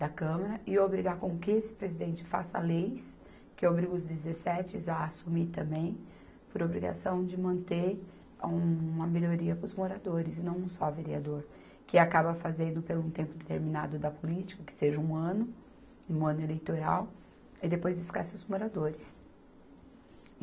da Câmara e obrigar com que esse presidente faça leis, que obriga os dezessetes a assumir também, por obrigação de manter um, uma melhoria para os moradores e não um só vereador, que acaba fazendo pelo um tempo determinado da política, que seja um ano, um ano eleitoral, e depois esquece os moradores.